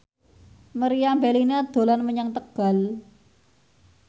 Meriam Bellina dolan menyang Tegal